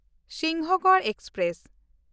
Sinhagad express